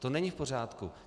To není v pořádku.